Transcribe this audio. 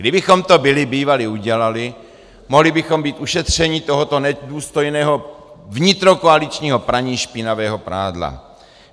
Kdybychom to byli bývali udělali, mohli bychom být ušetřeni tohoto nedůstojného vnitrokoaličního praní špinavého prádla.